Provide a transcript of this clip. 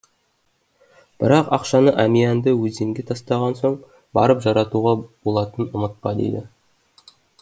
бірақ ақшаны әмиянды өзенге тастаған соң барып жаратуға болатынын ұмытпа дейді